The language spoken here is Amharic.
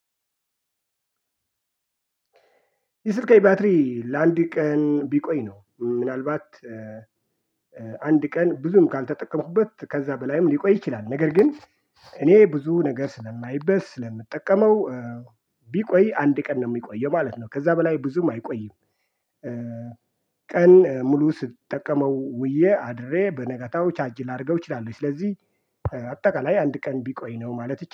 የስልኬ ባትሪ ለአንድ ቀን ቢቆይ ነው እም ምናልባት እእ አንድ ቀን ብዙም ካልተጠቀሙበት ከዛ በላይም ሊቆይ ይችላል። ነገር ግን እኔ ብዙ ነገር ስለማይበት ስለምጠቀመው እ ቢቆይ አንድ ቀን ነው የሚቆየው ማለት ነው። ከዛ በላይ ብዙም አይቆይም። እ ቀን ሙሉ ስትጠቀመው ውዬ አድሬ በነገታው ቻርጅ ላረገው እችላለሁ። ስለዚህ እ አጠቃላይ አንድ ቀን ቢቆይ ነው ማለት እች